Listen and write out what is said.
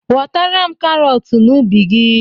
Ghotara m karọt n'ubi gị!